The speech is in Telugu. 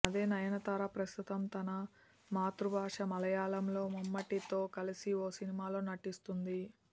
అదే నయనతార ప్రస్తుతం తన మాతృ బాష మలయాళంలో మమ్ముటితో కలసి ఓ సినిమాలో నటిస్తుంది